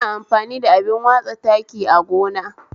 Ina amfani da abin watsa taki agona